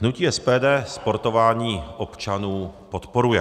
Hnutí SPD sportování občanů podporuje.